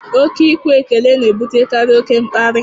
Ọ ke ikwe ekele na ebutekarị oke mkparị